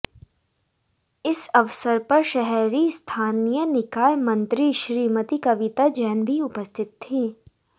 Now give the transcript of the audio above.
इस अवसर पर शहरी स्थानीय निकाय मंत्री श्रीमती कविता जैन भी उपस्थित थी